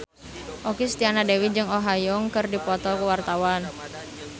Okky Setiana Dewi jeung Oh Ha Young keur dipoto ku wartawan